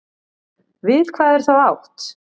Við hvað er þá átt?